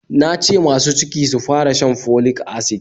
Na ce masu ciki sufara shan folic acid